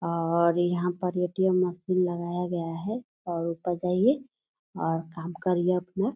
और यहां पर ए.टी.एम. मशीन लगाया गया है और ऊपर जाइये और काम करिये अपना।